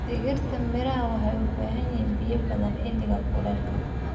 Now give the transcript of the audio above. Dhirta miraha waxay u baahan yihiin biyo badan xilliga kulaylka.